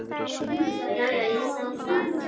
Já, já, ég sá það.